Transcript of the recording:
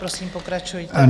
Prosím, pokračujte.